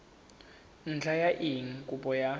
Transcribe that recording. ntlha ya eng kopo ya